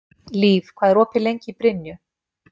Líf, hvað er opið lengi í Brynju?